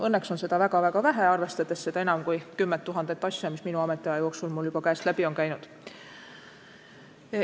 Õnneks on seda väga-väga vähe, arvestades enam kui 10 000 asja, mis minu ametiaja jooksul mul käest läbi on käinud.